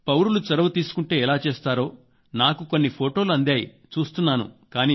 పౌరులు చొరవ తీసుకుంటే ఎలా చేస్తారో నాకు కొన్ని ఫొటోలు అందాయి చూస్తున్నాను